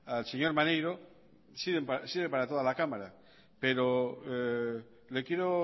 al señor maneiro sirve para toda la cámara pero le quiero